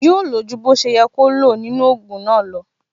Yóò lo ju bó ṣe yẹ kó lo nínú ogun náà lo